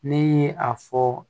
Ne ye a fɔ